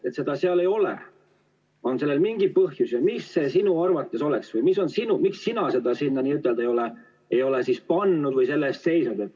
Kuna seda seal ei ole, siis küsin, kas sellel on mingi põhjus ja mis see sinu arvates on, või miks sina seda sinna ei ole pannud või selle eest seisnud.